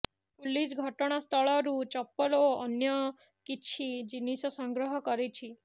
police ଘଟଣାସ୍ଥଳରୁ ଚପଲ ଓ ଅନ୍ୟ କିଛି ଜିନିଷ ସଂଗ୍ରହ କରିଛି